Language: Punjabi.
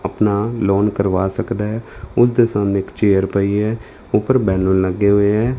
ਆਪਣਾ ਲੋਨ ਕਰਵਾ ਸਕਦਾ ਹੈ ਉਸ ਦੇ ਸਾਨੂੰ ਇੱਕ ਚੇਅਰ ਪਈ ਹੈ ਉਪਰ ਬੈਨਰ ਲੱਗੇ ਹੋਏ ਐ।